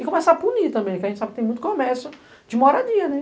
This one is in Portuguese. E começar a punir também, que a gente sabe que tem muito comércio de moradia, né?